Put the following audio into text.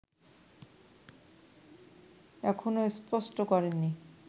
এখনো স্পষ্ট করেননি